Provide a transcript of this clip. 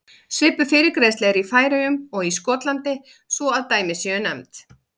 Svipuð fyrirgreiðsla er í Færeyjum og Skotlandi svo að dæmi séu nefnd.